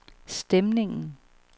stemningen